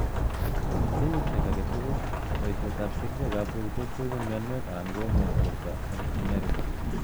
Ing kenyishek agei tugul, poishet ap kerichek ap pokitet ko ipu mionwek anan koumian porto ing America.